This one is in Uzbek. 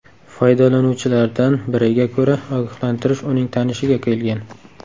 Foydalanuvchilardan biriga ko‘ra, ogohlantirish uning tanishiga kelgan.